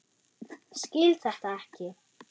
Skil þetta ekki.